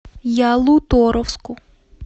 ялуторовску